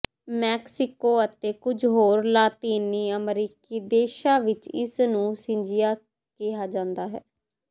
Mexico ਅਤੇ ਕੁਝ ਹੋਰ ਲਾਤੀਨੀ ਅਮਰੀਕੀ ਦੇਸ਼ਾਂ ਵਿਚ ਇਸ ਨੂੰ ਸਿੰਜਿਆ ਕਿਹਾ ਜਾਂਦਾ ਹੈ